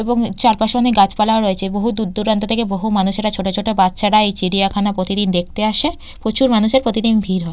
এবং চারপাশে অনেক গাছপালাও রয়েছে বহু দূর দূরান্ত থেকে বহু মানুষেরা ছোট ছোট বাচ্চারা এই চিড়িয়াখানা প্রতিদিন দেখতে আসে। প্রচুর মানুষের প্রতিদিন ভীড় হয়।